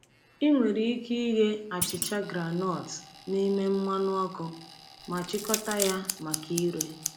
Ị nwere ike ighe achicha groundnut n’ime mmanụ ọkụ ma chịkọta ya maka ire.